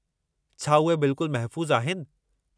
छा उहे बिल्कुलु महफ़ूज़ आहिनि?